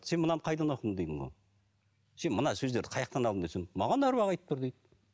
сен мынаны қайдан оқыдың сен мына сөздерді қаяақтан алдың десем маған аруақ айтып тұр дейді